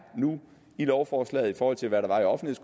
i lovforslaget i forhold til hvad